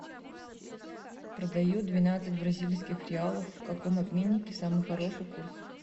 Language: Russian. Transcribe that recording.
продаю двенадцать бразильских реалов в каком обменнике самый хороший курс